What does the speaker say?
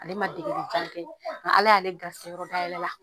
Ale ma degeli kan kɛ an ala y'ale garsɛ yɔrɔ da yɛlɛ la